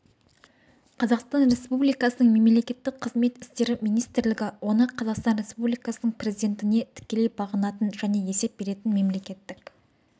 қазақстан республикасының мемлекеттік қызмет істері министрлігі оны қазақстан республикасының президентіне тікелей бағынатын және есеп беретін мемлекеттік